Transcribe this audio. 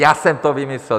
Já jsem to vymyslel.